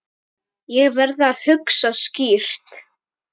Ég verð að hugsa skýrt.